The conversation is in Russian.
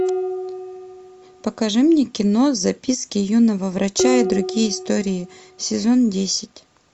покажи мне кино записки юного врача и другие истории сезон десять